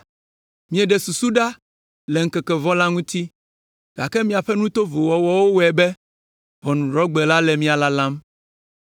Mieɖe susu ɖa le ŋkeke vɔ̃ la ŋuti, gake miaƒe nu tovowo wɔwɔ wɔe be Ʋɔnudrɔ̃gbe la le mia lalam.